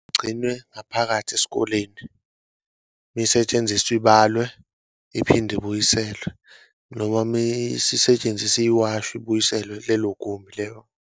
Kugcine ngaphakathi esikoleni uma isetshenziswa ibalwe iphinde ibuyiselwe noma uma isisetshenziswe iwashwe ibuyiselwe kulelo gumbi lelo.